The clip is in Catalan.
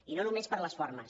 i no només per les formes